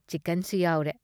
ꯆꯤꯀꯟꯁꯨ ꯌꯥꯎꯔꯦ ꯫